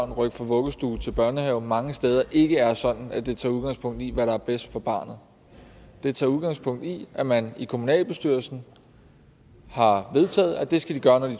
rykke fra vuggestue til børnehave mange steder ikke er sådan at det tager udgangspunkt i hvad der er bedst for barnet det tager udgangspunkt i at man i kommunalbestyrelsen har vedtaget at det skal de gøre når de